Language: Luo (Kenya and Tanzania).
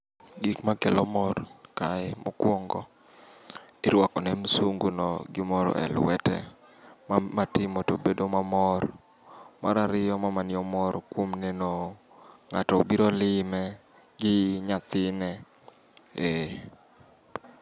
Gikma kelo mor kae mokwongo, irwako ne msunguno gimoro e lwete matimo to bedo mamor. Marariyo, mamani omor kuom neno ng'ato obiro lime gi nyathine. Ee.